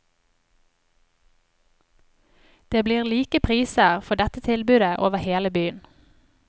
Det blir like priser for dette tilbudet over hele byen.